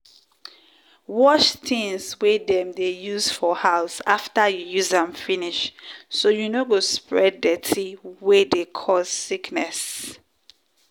wash tins wey dem dey use for house after you use am finish so you no go spread dirty wey dey cause sickness.